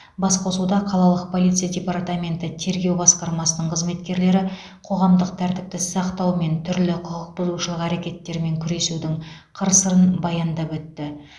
басқосуда қалалық полиция департаменті тергеу басқармасының қызметкерлері қоғамық тәртіпті сақтау мен түрлі құқықбұзушылық әрекеттермен күресудің қыр сырын баяндап өтті